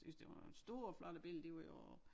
Synes det var nogle store flotte billeder de var jo